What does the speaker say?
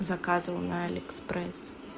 заказывал на алиэкспрес